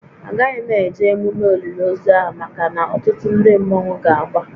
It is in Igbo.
A gaghị m eje emume olili ozu ahụ maka na ọtụtụ ndị mmọnwu ga-agba